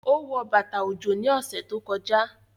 Ó wọ bàtà ọjọ́ ní ọ̀sẹ̀ tó kọjá